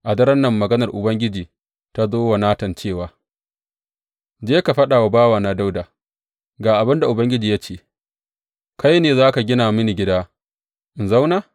A daren nan maganar Ubangiji ta zo wa Natan cewa, Je ka faɗa wa bawana Dawuda, Ga abin da Ubangiji ya ce, kai ne za ka gina mini gida in zauna?